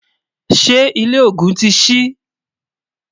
ṣé ilé ògún tí sí?